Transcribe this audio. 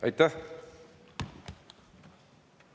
Aitäh!